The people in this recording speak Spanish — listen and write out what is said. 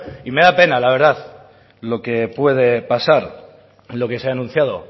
y me da pena la verdad lo que puede pasar lo que se ha anunciado